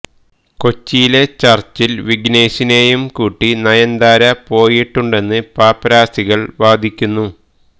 കൊച്ചിയിലെ ചര്ച്ചില് വിഘ്നേശിനെയും കൂട്ടി നയന്താര പോയിട്ടുണ്ടെന്ന് പാപ്പരസികള് വാദിക്കുന്നു